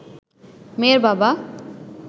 মেয়ের বাবা